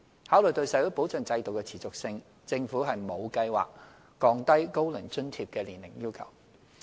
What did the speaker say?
考慮到社會保障制度的持續性，政府沒有計劃降低"高齡津貼"的年齡要求。